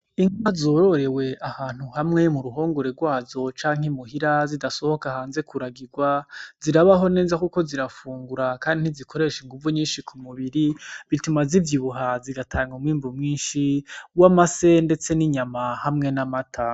Inka zororewe ahantu hamwe mu ruhongore rwazo canke muhira zidasohoka hanze kuragirwa, zirabaho neza kuko zirafungura kandi ntizikoresha inguvu nyinshi ku mubiri bituma zivyivubaha bigatanga umwimbu mwinshi w'amase ndetse n'inyama hamwe n'amata.